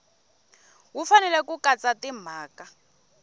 wu fanele ku katsa timhaka